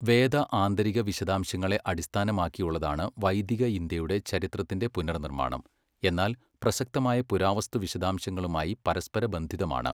വേദ ആന്തരിക വിശദാംശങ്ങളെ അടിസ്ഥാനമാക്കിയുള്ളതാണ് വൈദിക ഇന്ത്യയുടെ ചരിത്രത്തിന്റെ പുനർനിർമ്മാണം, എന്നാൽ പ്രസക്തമായ പുരാവസ്തു വിശദാംശങ്ങളുമായി പരസ്പരബന്ധിതമാണ്.